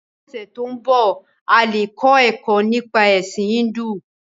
Ní ọ̀sẹ to nbọ, a le kọ ẹkọ nípa Ẹ̀sin Híndù.